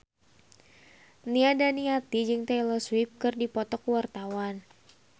Nia Daniati jeung Taylor Swift keur dipoto ku wartawan